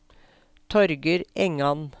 Torger Engan